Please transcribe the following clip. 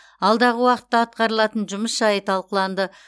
алдағы уақытта атқарылатын жұмыс жайы талқыланды